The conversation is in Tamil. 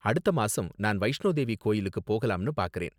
அடுத்த மாசம், நான் வைஷ்ணோ தேவி கோவிலுக்கு போகலாம்னு பாக்கறேன்.